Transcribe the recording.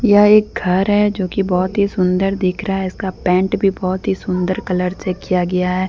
यह एक घर है जो की बहुत ही सुंदर दिख रहा है इसका पेंट भी बहुत ही सुंदर कलर से किया गया है।